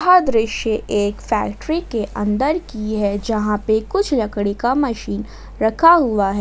यह दृश्य एक फैक्ट्री के अंदर की है जहां पे कुछ लकड़ी का मशीन रखा हुआ है।